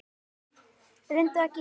Reyndu að giska.